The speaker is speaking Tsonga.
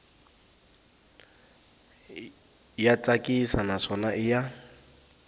ya tsakisa naswona i ya